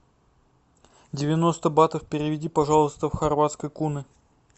девяносто батов переведи пожалуйста в хорватские куны